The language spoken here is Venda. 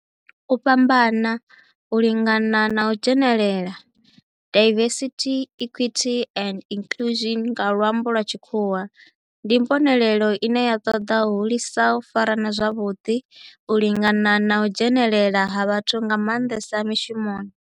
U fhambana, u lingana na u dzhenelela, diversity, equity and inclusion nga lwambo lwa tshikhuwa, ndi mbonelelo ine ya toda u hulisa u farana zwavhudi, u lingana na u dzhenelela ha vhathu nga mandesa mishumoni.